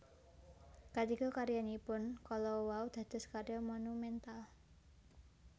Katiga karyanipun kala wau dados karya monumental